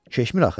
Keçmir axı.